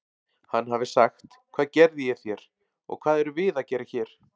Hann hafi sagt: Hvað gerði ég þér og hvað erum við að gera hér?